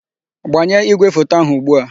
Gbanye ígwèfoto áhụ̀ ugbu a!